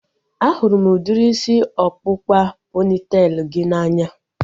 A hụrụ m udiri isi ọkpụkpa pọnitelu gị n'anya